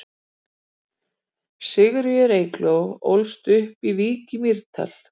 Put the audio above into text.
Sigríður Eygló ólst upp í Vík í Mýrdal.